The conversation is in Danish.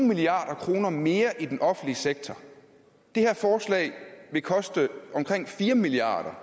milliard kroner mere i den offentlige sektor det her forslag vil koste omkring fire milliard